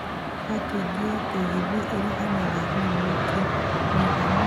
Bakĩngi ya taxi ĩringanaga na mwaki mũiganu